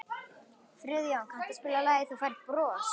Friðjóna, kanntu að spila lagið „Þú Færð Bros“?